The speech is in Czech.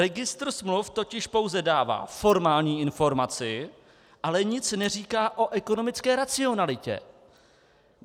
Registr smluv totiž pouze dává formální informaci, ale nic neříká o ekonomické racionalitě.